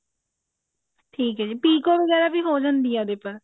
ਠੀਕ ਹੈ ਜੀ ਪਿਕੋ ਵਗੇਰਾ ਵੀ ਹੋ ਜਾਂਦੀ ਹੈ ਉਹਦੇ ਪਰ